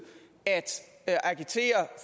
at agitere